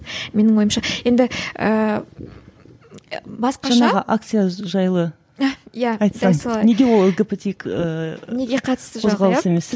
менің ойымша енді ііі басқаша акция жайлы айтсаң неге ол лгбтик ііі қоғалысы емес